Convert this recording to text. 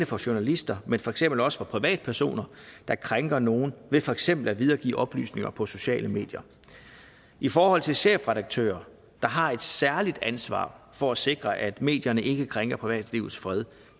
for journalister men for eksempel også for privatpersoner der krænker nogle ved for eksempel at videregive oplysninger på sociale medier i forhold til chefredaktører der har et særligt ansvar for at sikre at medierne ikke krænker privatlivets fred